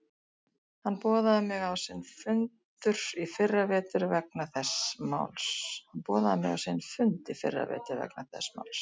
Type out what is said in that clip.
Hann boðaði mig á sinn fundur í fyrra vetur vegna þess máls.